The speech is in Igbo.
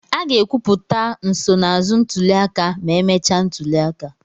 A ga-ekwupụta nsonaazụ ntuli aka ma emechaa ntuli aka.